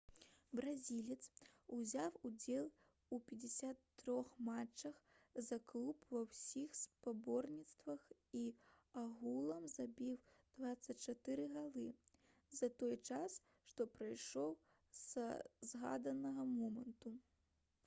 бразілец узяў удзел у 53 матчах за клуб ва ўсіх спаборніцтвах і агулам забіў 24 галы за той час што прайшоў са згаданага моманту